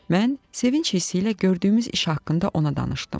Mən sevinc hissi ilə gördüyümüz işi haqqında ona danışdım.